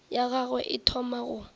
ya gagwe e thoma go